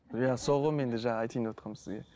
иә сол ғой менде жаңа айтайын деватқаным сізге